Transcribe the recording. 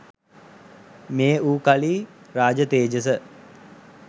මේ වූ කලි රාජ තේජස